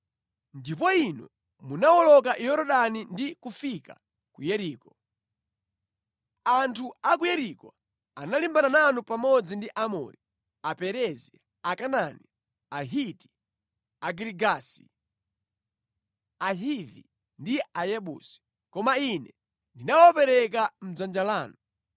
“ ‘Ndipo inu munawoloka Yorodani ndi kufika ku Yeriko. Anthu a ku Yeriko analimbana nanu pamodzi ndi Aamori, Aperezi, Akanaani, Ahiti, Agirigasi, Ahivi ndi Ayebusi. Koma Ine ndinawapereka mʼdzanja lanu.